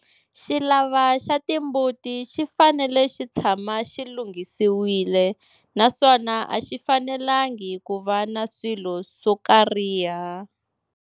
Xivala xa timbuti xi fanele xi tshama xi lunghisiwile naswona a xi fanelangi ku va na swilo swo karhiha.